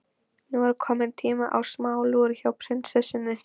Nú er kominn tími á smá lúr hjá prinsessunni.